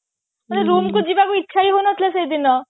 ମୋର room କୁ ଯିବାକୁ ଇଚ୍ଛା ହିଁ ହଉ ନଥିଲା ସେଇଦିନ